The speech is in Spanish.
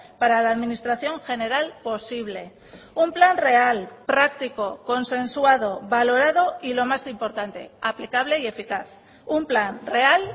para la administración general posible un plan real práctico consensuado valorado y lo más importante aplicable y eficaz un plan real